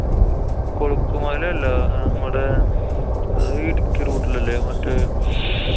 കൊളുക്ക് മലയല്ലാ. മ്മടെ അത് ഇടുക്കി route ലല്ലേ? മറ്റേ